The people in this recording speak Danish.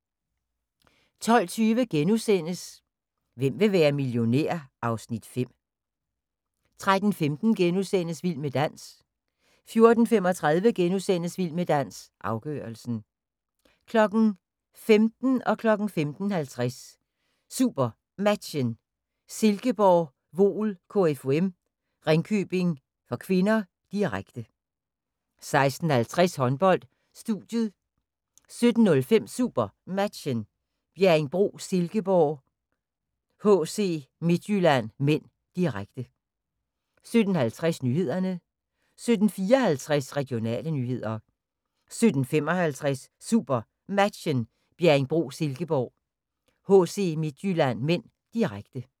12:20: Hvem vil være millionær? (Afs. 5)* 13:15: Vild med dans * 14:35: Vild med dans – afgørelsen * 15:00: SuperMatchen: Silkeborg-Voel KFUM - Ringkøbing (k), direkte 15:50: SuperMatchen: Silkeborg-Voel KFUM - Ringkøbing (k), direkte 16:50: Håndbold: Studiet 17:05: SuperMatchen: Bjerringbro-Silkeborg - HC Midtjylland (m), direkte 17:50: Nyhederne 17:54: Regionale nyheder 17:55: SuperMatchen: Bjerringbro-Silkeborg - HC Midtjylland (m), direkte